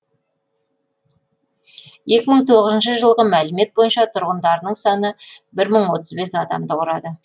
екі мың тоғыыншы жылғы мәлімет бойынша тұрғындарының саны бір мың отыз бес адамды құрады